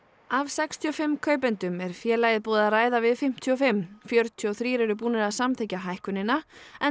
af sextíu og fimm kaupendum er félagið búið að ræða við fimmtíu og fimm fjörutíu og þrír eru búnir að samþykkja hækkunina